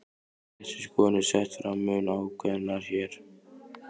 Þessi skoðun er sett fram mun ákveðnar hér.